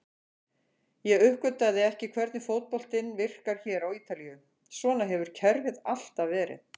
Ég uppgötvaði ekki hvernig fótboltinn virkar hér á Ítalíu, svona hefur kerfið alltaf verið.